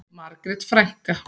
Margrét frænka.